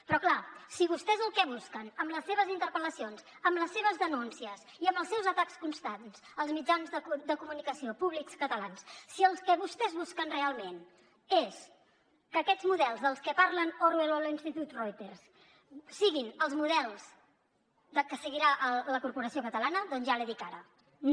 però clar si vostès el que busquen amb les seves interpel·lacions amb les seves denúncies i amb els seus atacs constants als mitjans de comunicació públics catalans si el que vostès busquen realment és que aquests models dels que parlen orwell o l’institut reuters siguin els models que seguirà la corporació catalana doncs ja l’hi dic ara no